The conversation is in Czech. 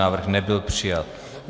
Návrh nebyl přijat.